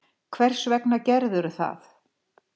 Hvers vegna gerðirðu það?